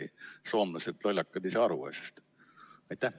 Kas soomlased, lollakad, ei saa aru asjast?